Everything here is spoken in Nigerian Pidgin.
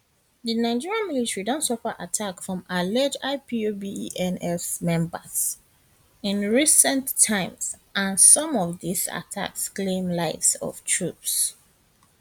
di nigerian military don suffer attack from alleged ipobesn members in recent times and some of dis attacks claim lives of troops